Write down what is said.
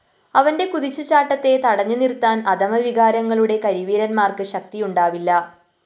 അവന്റെ കുതിച്ചുചാട്ടത്തെ തടുത്തുനിര്‍ത്താന്‍ അധമവികാരങ്ങളുടെ കരിവീരന്മാര്‍ക്ക് ശക്തിയുണ്ടാവില്ല